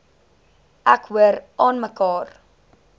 ek hoor aanmekaar